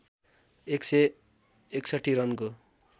१ सय ६१ रनको